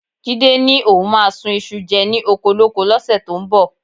Jídé ni òun máa sun iṣu jẹ ni okolóko lọ́sẹ̀ tó ń bọ̀